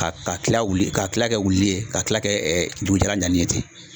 Ka ka kila ka kila kɛ wulili ye ka kila kɛ dugu jalan danni ye ten.